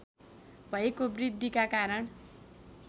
भएको वृद्धिका कारण